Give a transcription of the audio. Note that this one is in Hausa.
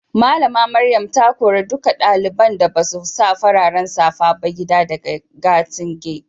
Mallama Maryam ta kore dukan dalibain da basu sa fararen safa ba gida daga gati'n yau.